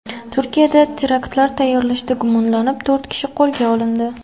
Turkiyada teraktlar tayyorlashda gumonlanib, to‘rt kishi qo‘lga olindi.